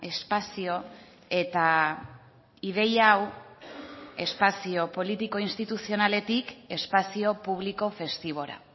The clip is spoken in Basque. espazio eta ideia hau espazio politiko instituzionaletik espazio publiko festibora